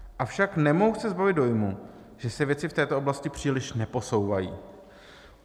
Avšak nemohu se zbavit dojmu, že se věci v této oblasti příliš neposouvají.